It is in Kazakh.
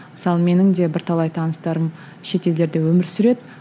мысалы менің де бірталай таныстарым шетелдерде өмір сүреді